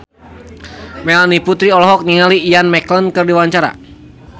Melanie Putri olohok ningali Ian McKellen keur diwawancara